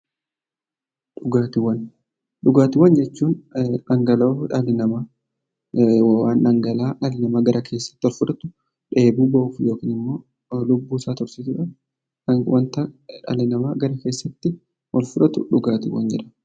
Dhugaatiiwwan jechuun dhangala'aa dhalli namaa gara qaama keessaatti ol fudhatu dheebuu bahuuf yookiin immoo lubbuu isaa tursiisuuf wanta dhalli namaa gara keessatti ol fudhatu dhugaatii jedhama.